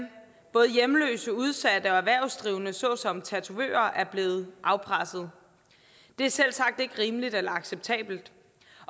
både hjemløse udsatte og erhvervsdrivende såsom tatovører er blevet afpresset det et selvsagt ikke rimeligt eller acceptabelt